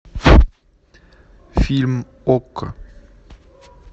фильм окко